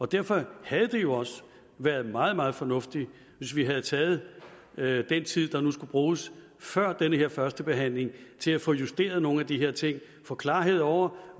derfor havde det jo også været meget meget fornuftigt hvis vi havde taget taget den tid der nu skulle bruges før den her første behandling til at få justeret nogle af de her ting og få klarhed over